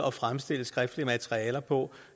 at fremstille skriftlige materialer på